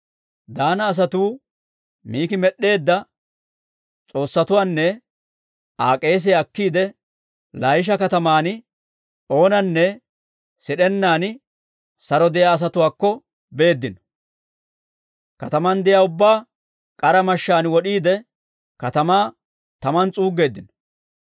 Daana asatuu Miki med'd'eedda s'oossatuwaanne Aa k'eesiyaa akkiide, Laayisha kataman oonanne sid'ennaan saro de'iyaa asatuwaakko beeddino; kataman de'iyaa ubbaa k'ara mashshaan wod'iide, katamaa taman s'uuggeeddino.